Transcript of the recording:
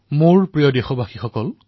মোৰ মৰমৰ দেশবাসীসকল